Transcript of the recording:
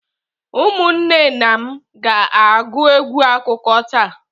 Ụmụnne na m ga-agụ egwu akụkọ taa.